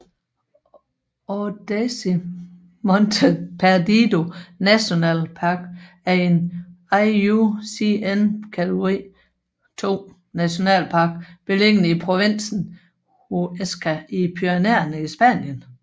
Ordesa y Monte Perdido National Park er en IUCN kategori II nationalpark beliggende i provinsen Huesca i Pyrenæerne i Spanien